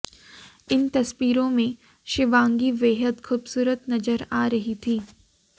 इन तस्वीरों में शिवांगी बेहद खूबसूरत नजर आ रही थीं